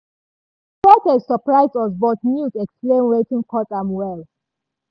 di protest surprise us but news explain wetin cause am well.